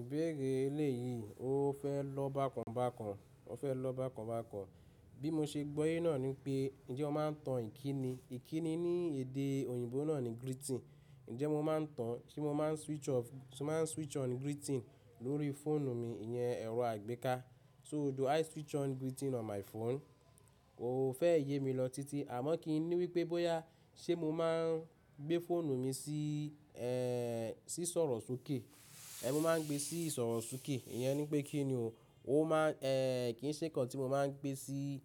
Ìbéèrè eléyìí, o fẹ́ lọ́ bákan bákan, o fẹ́ lọ́ bákan bákan. Bí mo ṣe gbọ́yé náà ní pé, ǹjẹ́ ó máa ń tan ìkíni? Ìkíni ní èdè òyìnbó náà ni greeting. Ǹjẹ́ mo máa ń tan, ṣe mo máa ń switch off, ṣe ma n switch on greeting lórí fóònù mi, ìyẹn ẹ̀rọ àgbéká. So do i switch on greeting on my phone? Kò fẹ́ yé mi lọ titi, àmọ́ kí ni wípé bóyá ṣe mo máa ń gbé fóònù mi sí, ẹ́, sí ìsọ̀rọ̀ sókè. Ẹ̀, mo máa ń gbé sí ìsọ̀rọ̀ sókè. Ìyẹn nipe kín ni o. Ó máa ń, ẹ́, kì í ṣe kàn tí mo máa ń gbé sí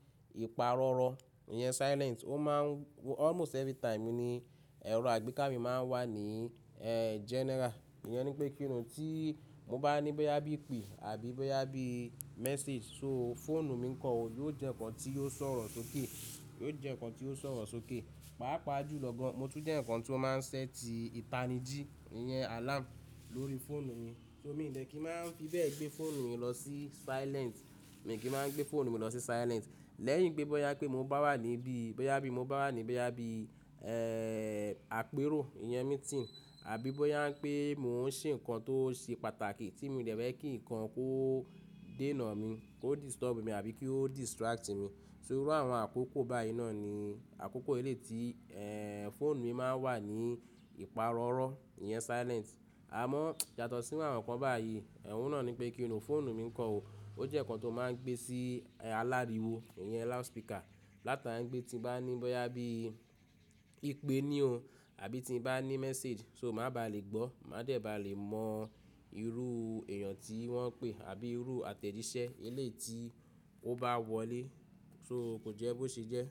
ìpààrọ̀rọ̀, ìyẹn silent. Ó máa ń-- almost every time ni ẹ̀rọ àgbéká mi máa ń wà ní, ẹ́, general. Ìyẹn nipe kín ni tí mo bá ní bóyá bí i pé àbí bóyá bí i message, so fóònù mi kan ò, yóò jẹ́ ǹkan tí yóò sọ̀rọ̀ sókè, yóò jẹ́ ǹkan tí yóò sọ̀rọ̀ sókè. Pàápàá jù lọ́ gan, mo tún jẹ́ ǹkan tí ó máa ń sẹ́tì ìpanijí, ìyẹn alarm lórí fóònù mi. So mi dẹ̀ kí máa ń fi bẹ́ẹ̀ gbé fóònù mi lọ sí silent. Mi kí máa ń gbé fóònù mi lọ sí silent. Lẹ́yìn pé bóyá pé mo bá wà níbí, bóyá bí i mo bá wà níbí, ẹ́, àpérò, ìyẹn meeting, àbí bóyá pé mò ń ṣe ǹkan tó ṣe pàtàkì tí mo dẹ̀ fẹ́ kí ǹkan kó dé nà mí, kó disturb mí àbí kó distract mi. So irú àwọn àkókò báyìí náà ni àkókò elé ti, ẹ́, fóònù mi máa ń wà ní ìpààrọ̀rọ̀, ìyẹn silent. Àmọ́ yàtọ̀ sí àwọn ǹkan báyìí, ẹ̀hun náà ni pé kí ni fóònù mi kan ò, ó jẹ́ ǹkan tó máa ń gbé sí aláriwo, ìyẹn loud speaker. Láta ni gbé tí bá ní bóyá bí i pé ní o àbí tí bá ní message, so má baà lè gbọ́, má dẹ̀ ba lè mọ irú èèyàn tí wọ́n pè àbí irú àtẹ̀jíṣẹ́ elé ti ó bá wọlé, so kò jẹ́ bó ṣe jẹ́.